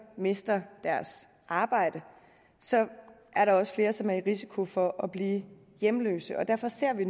mister deres arbejde så er der også flere som er i risiko for at blive hjemløse og derfor ser vi